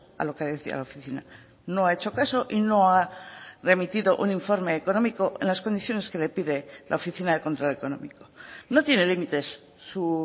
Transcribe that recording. a lo que decía la oficina no ha hecho caso y no ha remitido un informe económico en las condiciones que le pide la oficina de control económico no tiene límites su